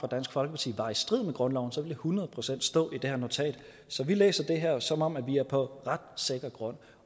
dansk folkeparti var i strid med grundloven så ville det hundrede procent stå i det her notat så vi læser det her som om vi er på ret sikker grund